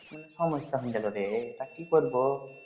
সমস্যা তা কি করবো